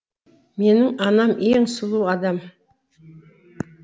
менің анам ең сұлу адам